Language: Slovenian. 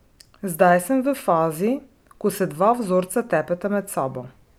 Zdaj sem v fazi, ko se dva vzorca tepeta med sabo.